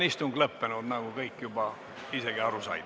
Istung on lõppenud, nagu kõik juba isegi aru said.